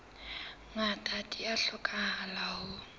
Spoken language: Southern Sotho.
ngata di a hlokahala ho